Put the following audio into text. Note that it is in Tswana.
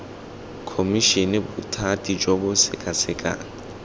khomišene bothati jo bo sekasekang